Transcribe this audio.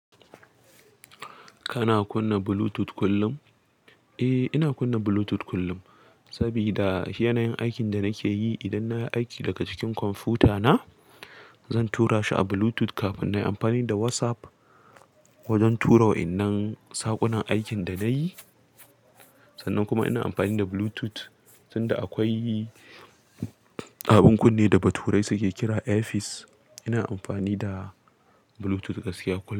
Kana kunna Bluetooth kullum? Eh, ina kunna Bluetooth kullum saboda yanayin aikin da nake yi. Idan na yi aiki daga cikin kwamfutana, zan tura shi a Bluetooth kafin na yi amfani da WhatsApp wajen tura wa'innan saƙunan aikin da na yi. Sannan kuma ina amfani da Bluetooth, sanda akwai abin kunne da baturai suke kira AirPods. Ina amfani da Bluetooth gaskiya kullum.